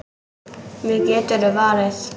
Mig geturðu varið.